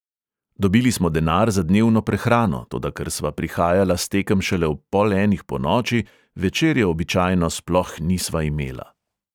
Dobili smo denar za dnevno prehrano, toda ker sva prihajala s tekem šele ob pol enih ponoči, večerje običajno sploh nisva imela.